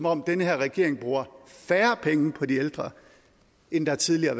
om den her regering bruger færre penge på de ældre end der tidligere